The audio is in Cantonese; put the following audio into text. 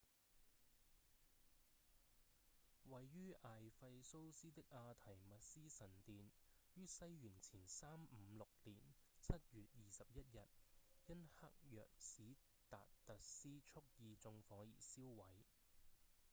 位於艾費蘇斯的阿緹密絲神殿於西元前356年7月21日因黑若史達特斯蓄意縱火而燒毀